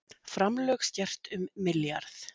Framlög skert um milljarð